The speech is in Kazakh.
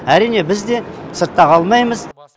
әрине біз де сыртта қалмаймыз